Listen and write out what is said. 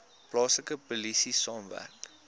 plaaslike polisie saamwerk